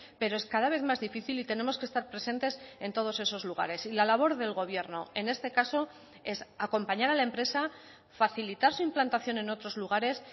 pero es cada vez más difícil y tenemos que estar presentes en todos esos lugares y la labor del gobierno en este caso es acompañar a la empresa facilitar su implantación en otros lugares